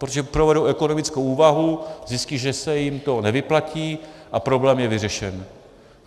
Protože provedou ekonomickou úvahu, zjistí, že se jim to nevyplatí, a problém je vyřešen.